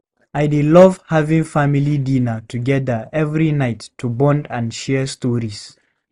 I dey love having family dinner together every night to bond and share stories.